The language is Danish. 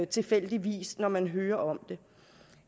tilfældigvis når man hører om det